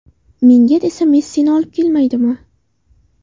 Menga desa Messini olib kelmaydimi.